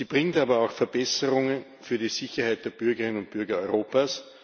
Sie bringt aber auch Verbesserungen für die Sicherheit der Bürgerinnen und Bürger Europas.